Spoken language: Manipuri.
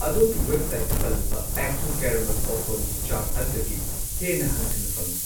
ꯑꯗꯣꯝꯒꯤ ꯋꯦꯕꯁꯥꯏꯠꯇ ꯄꯜꯂꯤꯕ ꯑꯦꯛ ꯇꯨ ꯀꯦꯔꯥꯃꯦꯜ ꯄꯣꯞꯀꯣꯔꯟꯒꯤ ꯆꯥꯡ ꯑꯗꯨꯗꯒꯤ ꯍꯦꯟꯅ ꯍꯟꯊꯅ ꯐꯪꯢ꯫